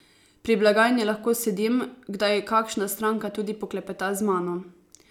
Pri blagajni lahko sedim, kdaj kakšna stranka tudi poklepeta z mano.